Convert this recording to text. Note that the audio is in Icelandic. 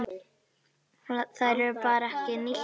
Þær eru bara ekki nýttar.